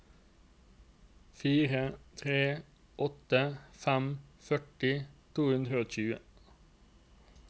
fire tre åtte fem førti to hundre og tjue